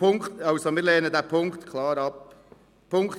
Wir lehnen diesen Punkt also klar ab.